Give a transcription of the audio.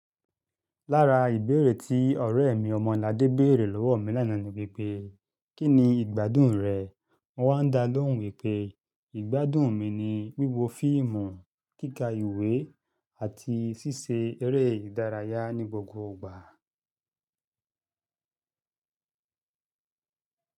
Lára ìbéèrè tí ọ̀rẹ́ mi Ọmọladé béèrè lọ́wọ́ mi lánàá ni wípé, "Kí ni ìgbádùn rẹ̀?" Mo wá dá lóhùn wípé, ìgbádùn mi ni wíwo fíìmù, kíkà ìwé àti ṣíṣe eré ìdárayá ní gbogbo ìgbà.